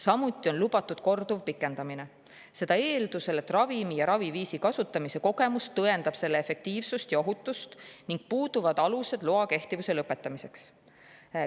Samuti on lubatud selle korduv pikendamine, aga seda eeldusel, et ravimi ja raviviisi kasutamise kogemus tõendavad selle efektiivsust ja ohutust ning puuduvad alused loa kehtivuse lõpetamiseks.